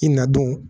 I na don